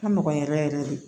Ka nɔgɔn yɛrɛ yɛrɛ de